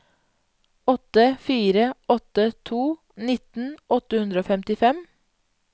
åtte fire åtte to nitten åtte hundre og femtifem